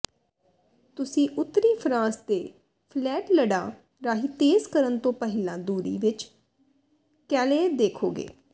ਤੁਸੀਂ ਉੱਤਰੀ ਫਰਾਂਸ ਦੇ ਫਲੈਟਲਡਾਂ ਰਾਹੀਂ ਤੇਜ਼ ਕਰਨ ਤੋਂ ਪਹਿਲਾਂ ਦੂਰੀ ਵਿੱਚ ਕੈਲੇਅ ਦੇਖੋਗੇ